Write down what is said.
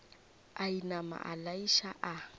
a inama a laiša a